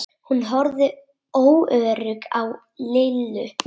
Hún horfði óörugg á Lillu.